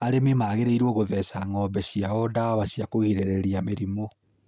Arĩmi magĩrĩirũo gũtheca ng'ombe ciao ndawa cia kũgirĩrĩria mĩrimũ.